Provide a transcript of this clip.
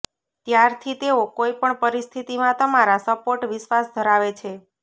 ત્યારથી તેઓ કોઇ પણ પરિસ્થિતિમાં તમારા સપોર્ટ વિશ્વાસ ધરાવે છે